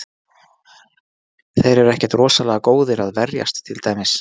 Þeir eru ekkert rosalega góðir að verjast til dæmis.